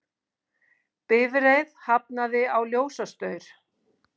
Bifreið hafnaði á ljósastaur